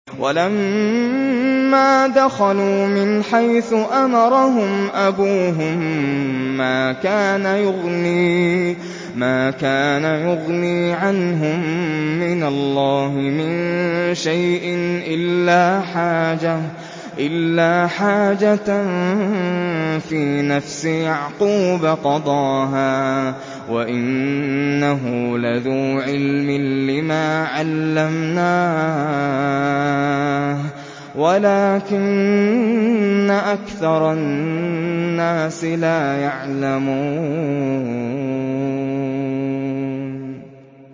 وَلَمَّا دَخَلُوا مِنْ حَيْثُ أَمَرَهُمْ أَبُوهُم مَّا كَانَ يُغْنِي عَنْهُم مِّنَ اللَّهِ مِن شَيْءٍ إِلَّا حَاجَةً فِي نَفْسِ يَعْقُوبَ قَضَاهَا ۚ وَإِنَّهُ لَذُو عِلْمٍ لِّمَا عَلَّمْنَاهُ وَلَٰكِنَّ أَكْثَرَ النَّاسِ لَا يَعْلَمُونَ